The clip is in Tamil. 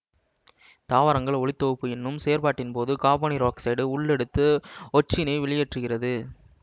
தாவரங்கள் ஒளித்தொகுப்பு என்னும் செயற்பாட்டின்போது காபனீரொட்சைட்டு உள் எடுத்து ஒட்சினை வெளியேற்றுகிறது